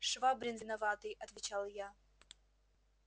швабрин виноватый отвечал я